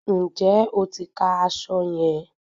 Ǹjẹ́ o ti ka aṣọ yẹn?